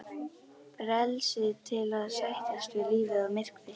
Frelsið til að sættast við lífið og myrkrið.